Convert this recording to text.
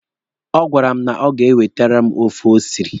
Ọ gwara m na o ga-ewetere m ofe o siri.